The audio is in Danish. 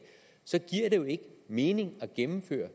så giver det jo ikke mening at gennemføre